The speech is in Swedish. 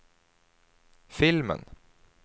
filmen